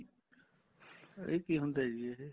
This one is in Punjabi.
ਇਹ ਕੀ ਹੁੰਦਾ ਜੀ ਇਹ